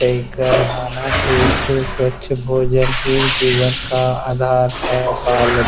एक अरहाना एक स्वच्छ भोजन ही जीवन का आधार है। बालद--